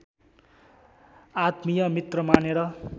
आत्मीय मित्र मानेर